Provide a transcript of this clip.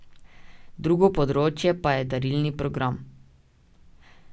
Drugo področje pa je darilni program.